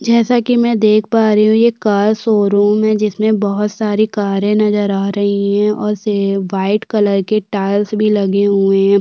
जैसा कि मे देख पा रही हूँ ये कार शोरूम है जिसमे बहौत सारी कारें नज़र आ रही हैं और व्हाइट कलर के टाइल्स भी लगे हुए हैं।